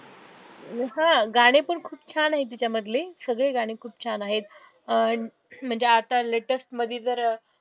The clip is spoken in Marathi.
अं हा गाणे पण खूप छान आहे त्याच्यामधले सगळे गाणे खूप छान आहेत, अं म्हणजे आता latest मधी जर